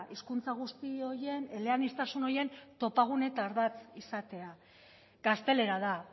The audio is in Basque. hizkuntza guzti horien eleaniztasun horien topagune eta ardatz izatea gaztelera da